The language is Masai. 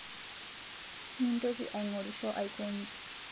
Mintoki aing'orisho aikonyi